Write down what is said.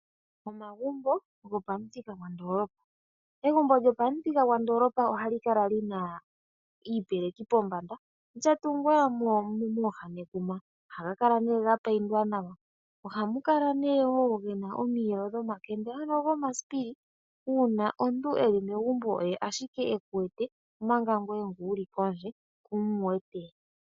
Omagumbo gopamuthika gwondoolopa, egumbo lyopamuthika gwandoolopa ohali kala lina iipeleki pombanda, lyatungwa nekuma mooha, ohaga kala nee ga payindwa nawa, ohamu kala woo omiyelo dhomakende ano gomasipili uuna omuntu eli megumbo oye ashike eku wete omanga ngee ngu wuli kondje kumu wete.